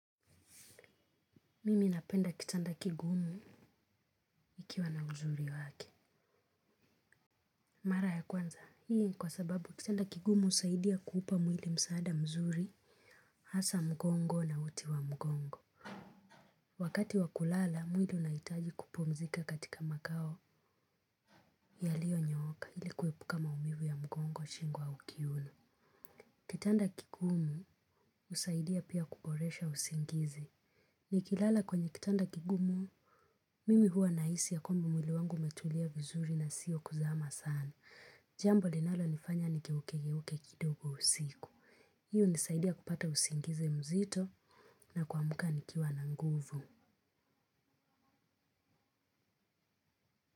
Mimi napenda kitanda kigumu ikiwa na uzuri wake. Mara ya kwanza, hii kwa sababu kitanda kigumu husaidia kuupa mwili msaada mzuri, hasa mgongo na uti wa mgongo. Wakati wa kulala, mwili unahitaji kupumzika katika makao yaliyonyooka ili kuepuka maumivu ya mgongo, shingo au kiuno. Kitanda kigumu husaidia pia kuboresha usingizi. Nikilala kwenye kitanda kigumu, mimi huwa nahisi ya kwamba mwili wangu umetulia vizuri na sio kuzama sana. Jambo linalonifanya nigeukegeuke kidogo usiku. Hii hunisaidia kupata usingizi mzito na kuamka nikiwa na nguvu.